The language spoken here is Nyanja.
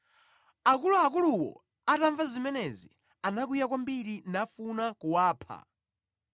Akuluakuluwo atamva zimenezi anakwiya kwambiri nafuna kuwapha.